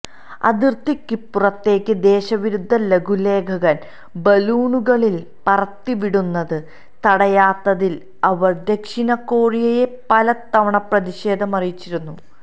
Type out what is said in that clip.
അതിർത്തിക്കിപ്പുറത്തേക്ക് ദേശവിരുദ്ധ ലഘുലേഖകൾ ബലൂണുകളിൽ പറത്തിവിടുന്നത് തടയാത്തതിൽ അവര് ദക്ഷിണ കൊറിയയെ പലതവണ പ്രതിഷേധം അറിയിച്ചിരുന്നു